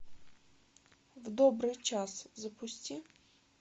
в добрый час запусти